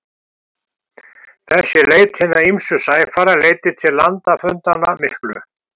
Þessi leit hinna ýmsu sæfara leiddi til landafundanna miklu.